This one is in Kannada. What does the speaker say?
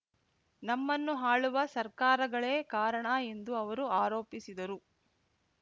ನಮ್ಮನ್ನು ಆಳುವ ಸರ್ಕಾರಗಳೇ ಕಾರಣ ಎಂದು ಅವರು ಆರೋಪಿಸಿದರು